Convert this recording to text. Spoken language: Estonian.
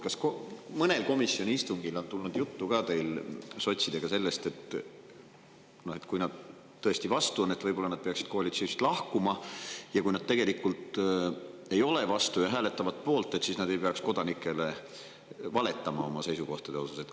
Kas mõnel komisjoni istungil on tulnud teil sotsidega juttu sellest, et kui nad tõesti vastu on, siis võib-olla nad peaksid koalitsioonist lahkuma, ja kui nad tegelikult ei ole vastu ja hääletavad poolt, siis nad ei peaks kodanikele valetama oma seisukohtade kohta?